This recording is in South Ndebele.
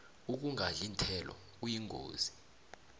ukungadli iinthelo kuyingozi